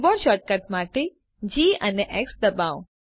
keyboard shortcut માટે જી ડબાઓ